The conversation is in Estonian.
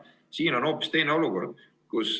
Praegu on hoopis teine olukord.